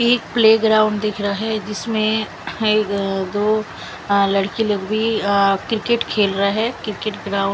मुझे एक play ground दिख रहा है जिसमे ए दो लड़की लोग भी अ क्रिकेट खेल रहा है क्रिकेट ग्राउ--